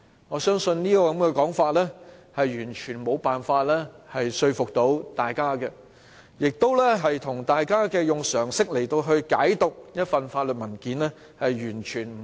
我相信，這種說法完全無法說服大家，亦完全有違於大家以常識來解讀一份法律文件時的理解。